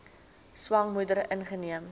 swanger moeder ingeneem